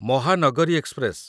Mahanagari express